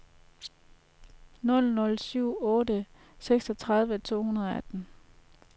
nul nul syv otte seksogtredive to hundrede og atten